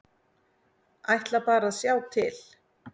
Ætla bara að sjá til.